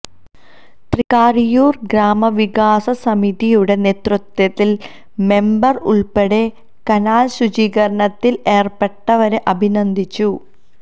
തൃക്കാരിയൂർ ഗ്രാമവികാസ സമിതിയുടെ നേതൃത്വത്തിൽ മെമ്പർ ഉൾപ്പെടെ കനാൽ ശുചീകരണത്തിൽ ഏർപ്പെട്ടവരെ അഭിനന്ദിച്ചു